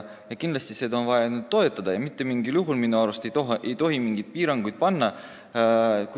Kindlasti on vaja seda toetada ja minu arust ei tohiks seal mitte mingil juhul mingeid piiranguid panna.